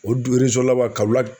O du laban Kawolaku